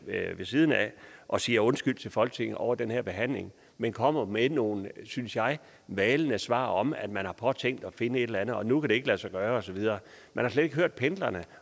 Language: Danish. ved siden af og siger undskyld til folketinget over den her behandling men kommer med nogle synes jeg malende svar om at man har påtænkt at finde et eller andet men nu kan det ikke lade sig gøre og så videre man har slet ikke hørt pendlerne